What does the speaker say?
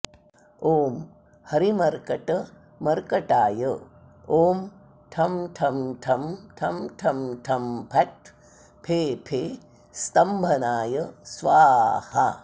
ॐ हरिमर्कटमर्कटाय ॐ ठं ठं ठं ठं ठं ठं फट् फे फे स्तम्भनाय स्वाहा